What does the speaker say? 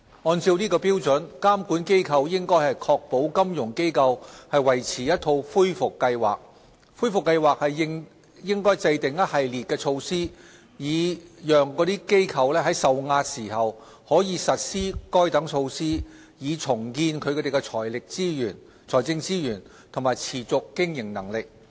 按照該標準，監管機構應確保金融機構維持一套恢復計劃。恢復計劃應制訂一系列措施，以讓該機構在受壓時，可以實施該等措施，以重建其財政資源和持續經營能力。